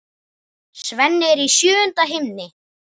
Svenni er í sjöunda himni.